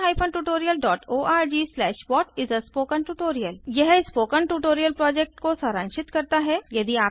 spoken tutorialorgWhat is a spoken tutorial यह spoken tutorial project को सारांशित करता है